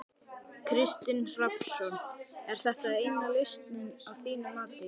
Kristinn Hrafnsson: Er þetta eina lausnin að þínu mati?